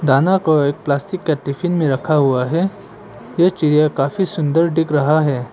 दाना को एक प्लास्टिक का टिफिन में रखा हुआ है ये चिड़िया काफी सुंदर दिख रहा है।